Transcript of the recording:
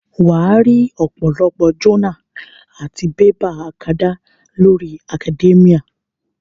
Wàá rí ọ̀pọ̀lọpọ̀ jọ́nà àti bébà akadá lórí Academia